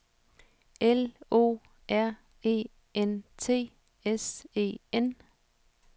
L O R E N T S E N